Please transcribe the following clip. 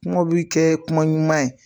Kumaw bɛ kɛ kuma ɲuman ye